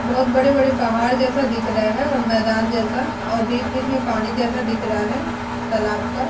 बोहोत बड़े-बड़े पहाड़ जैसा दिख रहा है और मैदान जैसा और बीच-बीच में पानी जैसा दिख रहा है तालाब का ।